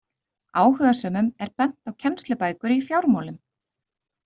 Áhugasömum er bent á kennslubækur í fjármálum.